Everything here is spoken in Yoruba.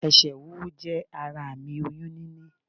Esè wíwú jé ara àmì oyún níní